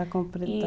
A completar.